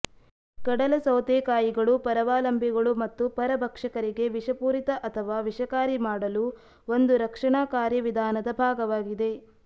ಕಡಲ ಸೌತೆಕಾಯಿಗಳು ಪರಾವಲಂಬಿಗಳು ಮತ್ತು ಪರಭಕ್ಷಕರಿಗೆ ವಿಷಪೂರಿತ ಅಥವಾ ವಿಷಕಾರಿ ಮಾಡಲು ಒಂದು ರಕ್ಷಣಾ ಕಾರ್ಯವಿಧಾನದ ಭಾಗವಾಗಿದೆ